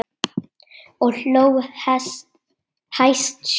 Og hló hæst sjálf.